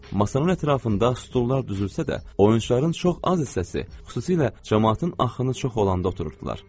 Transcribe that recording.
Masanın ətrafında stullar düzülsə də, oyunçuların çox az hissəsi, xüsusilə camaatın axını çox olanda otururdular.